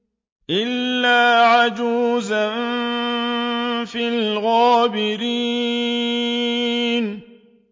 إِلَّا عَجُوزًا فِي الْغَابِرِينَ